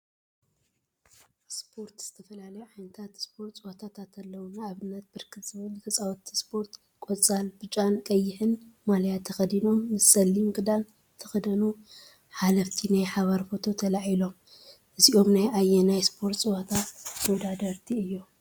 ስፖርት ዝተፈላለዩ ዓይነት ስፖርት ፀወታታት አለው፡፡ ንአብነት ብርክት ዝበሉ ተፃወቲ ስፖርት ቆፃል፣ ብጫን ቀይሕን ማልያ ተከዲኖም ምሰ ፀሊም ክዳን ዝተከደኑ ሓለፍቲ ናይ ሓባር ፎቶ ተላዒሎም፡፡ እዚኦም ናይ አየናይ ስፖርት ፀወታ ተወዳደርቲ እዮም?